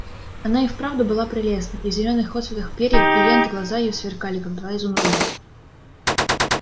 она и вправду была прелестна и в зелёных отсветах перьев и лент глаза её сверкали как два изумруда